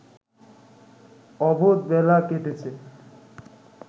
অবোধবেলা কেটেছে